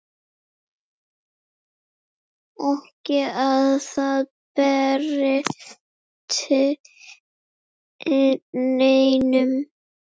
Ekki að það breytti neinu.